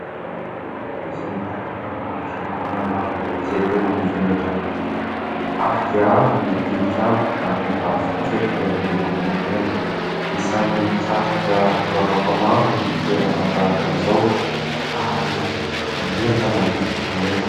Toerana iray izay ahitana fiangonana izay tena mivelatra tokoa. Avo dia avo ny tilikambo ary ny tafo kosa dia miloko menamena. Isan'ny mitarika mpivavaka maro ny toerana tahaka izao ary manentana ny finoana.